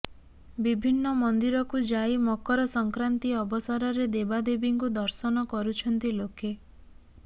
ବିଭିନ୍ନ ମନ୍ଦିରକୁ ଯାଇ ମକର ସଂକ୍ରାନ୍ତି ଅବସରରେ ଦେବାଦେବୀଙ୍କୁ ଦର୍ଶନ କରୁଛନ୍ତି ଲୋକେ